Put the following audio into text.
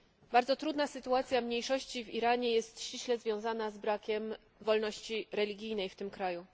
Bardzo trudna sytuacja mniejszości w Iranie jest ściśle związana z brakiem wolności religijnej w tym kraju.